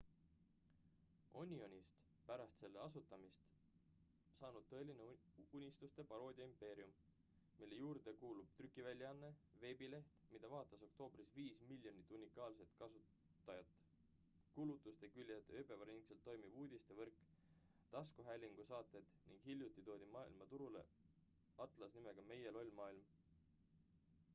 onionist pärast selle asutamist saanud tõeline uudiste paroodia impeerium mille juurde kuulub trükiväljaanne veebileht mida vaatas oktoobris 5 000 000 unikaalset külastajat kuulutusteküljed ööpäevaringselt toimiv uudistevõrk taskuhäälingusaated ning hiljuti toodi turule maailma atlas nimega meie loll maailm